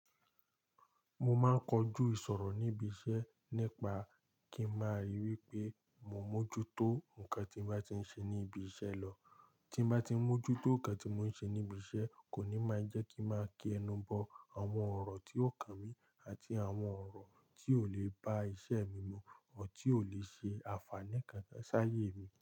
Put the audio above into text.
Mo máa ń kojú ìṣòro níbi iṣẹ́ nípa kí n máa ríi wí pé mo mójútó nǹkan tí mo bá ti ń ṣe ní ibi iṣẹ́ lọ. Tí mo bá ti ń mójútó nǹkan tí mò ń ṣe níbi iṣẹ́ kò ní máa jẹ́ kí n máa kí ẹnu bọ àwọn ọ̀rọ̀ tí ò kan mi àti àwọn ọ̀rọ̀ tí ò lè ba iṣẹ́ mi mu ọ́rọ tí ò lè ṣe àǹfààní kankan sáyé mi.